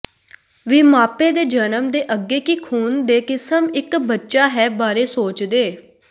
ਵੀ ਮਾਪੇ ਦੇ ਜਨਮ ਦੇ ਅੱਗੇ ਕੀ ਖੂਨ ਦੇ ਕਿਸਮ ਇੱਕ ਬੱਚਾ ਹੈ ਬਾਰੇ ਸੋਚਦੇ